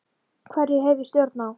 Hverju hef ég stjórn á?